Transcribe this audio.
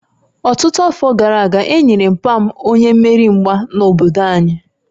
Ọtụtụ afọ gara aga, e nyere papa m onye mmeri mgba n'obodo anyị